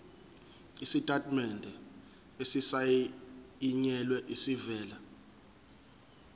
isitatimende esisayinelwe esivela